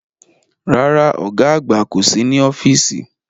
Rárá, ọ̀gá àgbà kò sí ní ọ́fíìsì